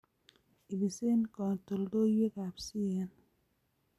Ibisee katoldoloiwekab CAN